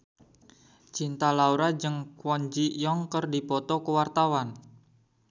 Cinta Laura jeung Kwon Ji Yong keur dipoto ku wartawan